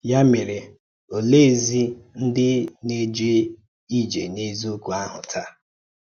Yá mèrè, ọ̀lèézì ǹdí nà-èjè íjè n’èzíòkwú áhu tàá?